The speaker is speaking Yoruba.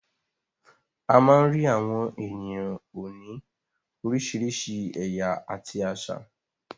A má ń rí àwọn ènìyàn òní oríṣiríṣi ẹ̀yà àti àṣà.